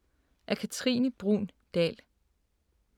Af Katrine Bruun Dahl